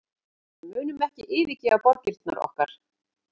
Við munum ekki yfirgefa borgirnar okkar